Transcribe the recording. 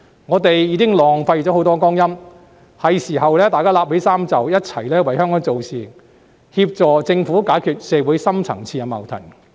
我們已浪費了很多光陰，是時候拉起衣袖，一起為香港做事，協助政府解決社會的深層次矛盾。